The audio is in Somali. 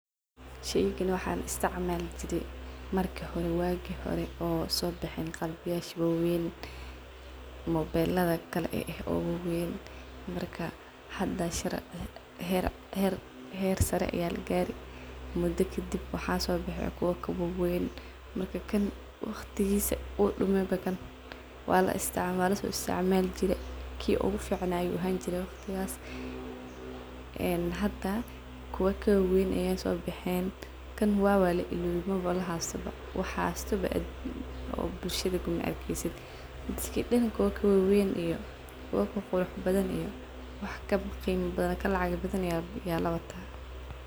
Sheygani waxaan isticmali jire marki hore wagi hore oo sobixin qalabyasha waweyn , mobelada kalaeeh oo waweyn , hada her sare aayaa lagare , hada waqtigisa uu dameeh , kii ugu finaa uu ahani jire waqtigas , wax hasto majiro kuwa waeyn aa sobexen . kan waba lailowe maba lahasto wax hasto majiro dadka dan kuwa kaweyn kaqurux badan iyo wax kaqima badhan kalacag badhan ayaa lawatah.